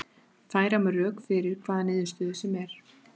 Færa má rök fyrir hvaða niðurstöðu sem er.